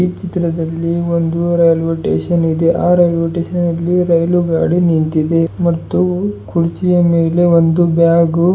ಈ ಚಿತ್ರದಲ್ಲಿ ಒಂದು ರೈಲ್ವೆ ಸ್ಟೇಷನ್ ಇದೆ ಆ ರೈಲ್ವೆ ಸ್ಟೇಷನ್ನಲ್ಲಿ ರೈಲು ಗಾಡಿ ನಿಂತಿದೆ ಮತ್ತು ಕುರ್ಚಿಯ ಮೇಲೆ ಒಂದು ಬ್ಯಾಗು --